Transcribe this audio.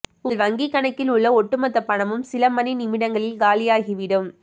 உங்கள் வங்கிக் கணக்கில் உள்ள ஒட்டுமொத்த பணமும் சில மணி நிமிடங்களில் காலியாகிவிடும்